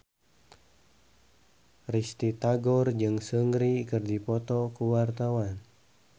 Risty Tagor jeung Seungri keur dipoto ku wartawan